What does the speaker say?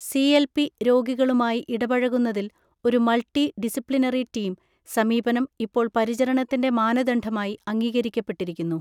CLP രോഗികളുമായി ഇടപഴകുന്നതിൽ ഒരു മൾട്ടി ഡിസിപ്ലിനറി ടീം സമീപനം ഇപ്പോൾ പരിചരണത്തിൻ്റെ മാനദണ്ഡമായി അംഗീകരിക്കപ്പെട്ടിരിക്കുന്നു.